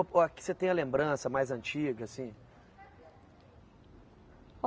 A que você tem a lembrança mais antiga, assim?